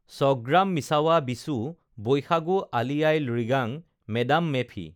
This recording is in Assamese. ছগ্ৰামিছাৱা বিচু বৈশাগু আলি য়াই লৃগাং মে ডাম মে ফি